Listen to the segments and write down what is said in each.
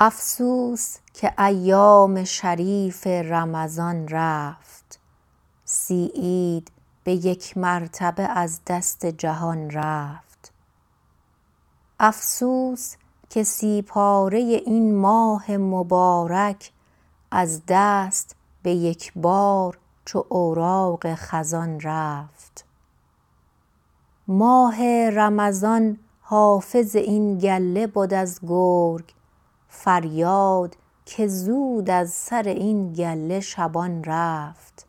افسوس که ایام شریف رمضان رفت سی عید به یک مرتبه از دست جهان رفت افسوس که سی پاره این ماه مبارک از دست به یکبار چو اوراق خزان رفت ماه رمضان حافظ این گله بد از گرگ فریاد که زود از سر این گله شبان رفت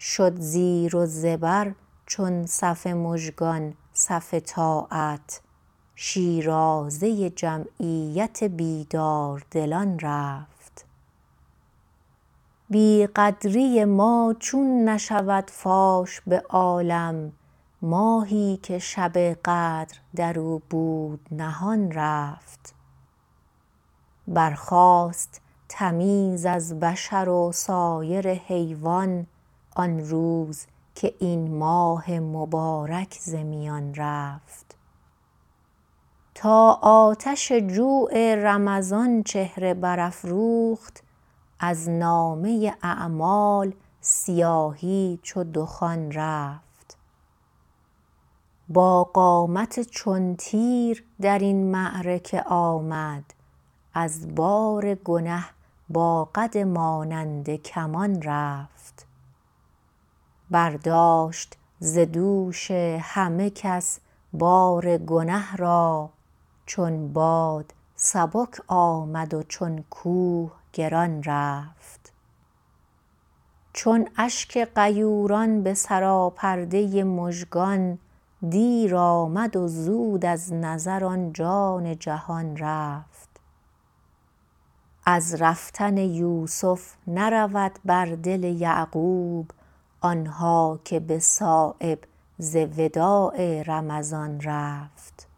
شد زیر و زبر چون صف مژگان صف طاعت شیرازه جمعیت بیداردلان رفت بیقدری ما چون نشود فاش به عالم ماهی که شب قدر در او بود نهان رفت برخاست تمیز از بشر و سایر حیوان آن روز که این ماه مبارک ز میان رفت تا آتش جوع رمضان چهره برافروخت از نامه اعمال سیاهی چو دخان رفت با قامت چون تیر درین معرکه آمد از بار گنه با قد مانند کمان رفت برداشت ز دوش همه کس بار گنه را چون باد سبک آمد و چون کوه گران رفت چون اشک غیوران به سراپرده مژگان دیر آمد و زود از نظر آن جان جهان رفت از رفتن یوسف نرود بر دل یعقوب آنها که به صایب ز وداع رمضان رفت